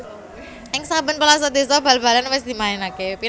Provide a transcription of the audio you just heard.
Ing saben pelosok désa bal balan wis dimainaké